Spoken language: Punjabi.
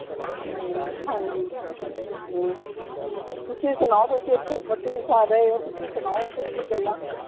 ਹਮ ਹਾਂਜੀ ਹਮ ਤੁਸੀਂ ਸੁਣਾਓ ਤੁਸੀਂ ਓਥੇ ਤਿੰਨ ਸਾਲ ਰਹੇ ਹੋ ਤੁਸੀਂ ਸੁਣਾਓ ਓਥੋਂ ਦੀ ਗੱਲਾਂ